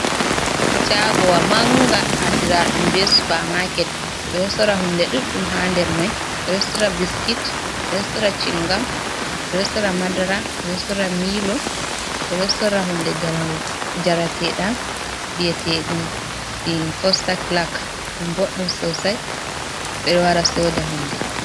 Shaagowa manga andira ɗum be supa maket. Ɓe ɗo sora hunde ɗuɗɗum haa nder mai. Ɓe ɗo sora biskit, ɓe ɗo sora cingam, ɓe ɗo sora madara, ɓe ɗo sora milo, ɓe ɗo sora hunde njareteɗam bi'eteɗum fossaklak, ɗum boɗɗum sosai. Ɓe o wara soda hunde.